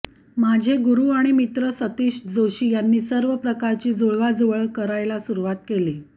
माझे गुरु आणि मित्र सतीश जोशी यांनी सर्व प्रकारची जुळवाजुळव करायला सुरवात केली